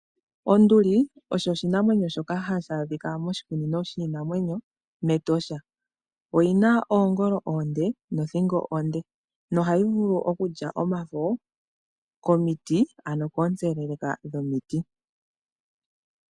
Onduli osho oshinamwenyo shoka hashi adhika moshikunino shiinamwenyo meEtosha. Oyina oongolo oonde nothingo onde nohayi vulu okulya omafo komiti ano koontseleleka dhomiti.